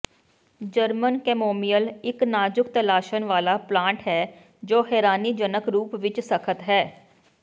German chamomile ਇੱਕ ਨਾਜ਼ੁਕ ਤਲਾਸ਼ਣ ਵਾਲਾ ਪਲਾਂਟ ਹੈ ਜੋ ਹੈਰਾਨੀਜਨਕ ਰੂਪ ਵਿੱਚ ਸਖਤ ਹੈ